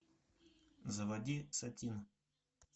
заводи сатин